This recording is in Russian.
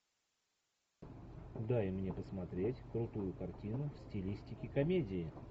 дай мне посмотреть крутую картину в стилистике комедии